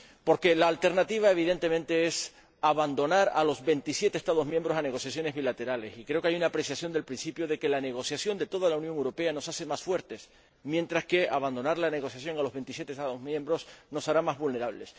Porque la alternativa, evidentemente, es abandonar a los 27 Estados miembros a negociaciones bilaterales, y creo que hay una apreciación del principio de que la negociación de toda la Unión Europea nos hace más fuertes, mientras que abandonar la negociación a los 27 Estados miembros nos hará más vulnerables.